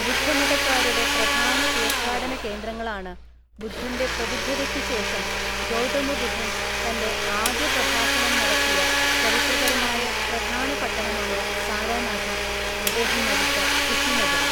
ബുദ്ധമതക്കാരുടെ പ്രധാന തീർത്ഥാടന കേന്ദ്രങ്ങളാണ്, ബുദ്ധന്റെ പ്രബുദ്ധതയ്ക്ക് ശേഷം ഗൗതമ ബുദ്ധൻ തന്റെ ആദ്യ പ്രഭാഷണം നടത്തിയ ചരിത്രപരമായ പ്രധാന പട്ടണമായ സാരനാഥും, അദ്ദേഹം മരിച്ച കുശിനഗറും.